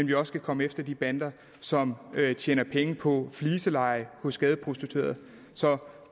vi også kan komme efter de bander som tjener penge på fliseleje hos gadeprostituerede så